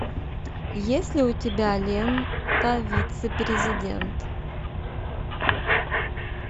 есть ли у тебя лента вице президент